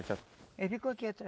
Eles ficam aqui